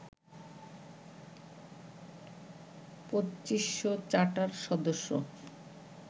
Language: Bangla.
২৫০০ চার্টার সদস্য